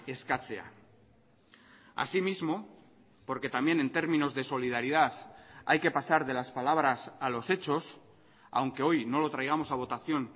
eskatzea asimismo porque también en términos de solidaridad hay que pasar de las palabras a los hechos aunque hoy no lo traigamos a votación